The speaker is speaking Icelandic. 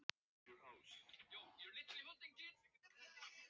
Ferdínand, slökktu á niðurteljaranum.